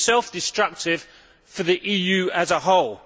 It is self destructive for the EU as a whole.